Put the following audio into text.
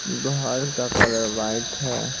घर का colour white है।